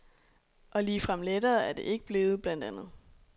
Og ligefrem lettere er det ikke blevet, blandt andet